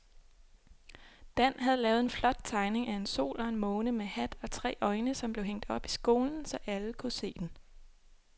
Dan havde lavet en flot tegning af en sol og en måne med hat og tre øjne, som blev hængt op i skolen, så alle kunne se den.